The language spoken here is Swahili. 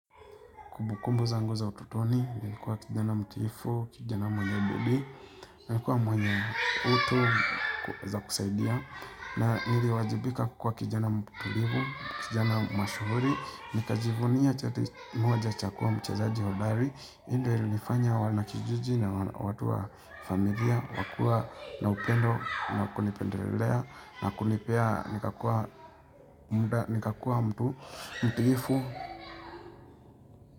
Kubukumbu zangu za utotoni, nilikuwa kijana mtiifu, kijana mwenye bidii, nilikuwa mwenye utu za kusaidia, na niliwajibika kukua kijana mtulivu, kijana mashuhuri, nikajivunia chati moja cha kua mchezaji hodari, hii ndio ilnifanya wanakijiji na watu wa familia, wakua na upendo, wa kunipendelelea, na kunipea, nikakua mtu, mtuifu.